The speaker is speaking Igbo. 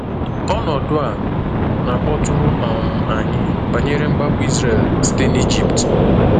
Ọnọdụ a na-akpọtụrụ um anyị banyere mgbapụ Izrel site n’Egypt.